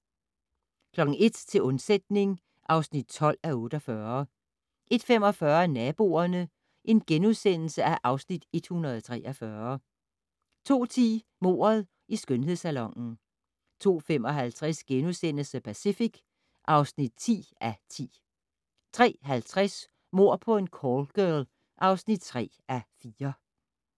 01:00: Til undsætning (12:48) 01:45: Naboerne (Afs. 143)* 02:10: Mordet i skønhedssalonen 02:55: The Pacific (10:10)* 03:50: Mord på en callgirl (3:4)